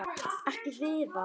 Ekki Viðar.